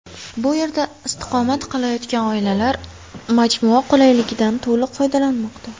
Bu yerda istiqomat qilayotgan oilalar majmua qulayligidan to‘liq foydalanmoqda.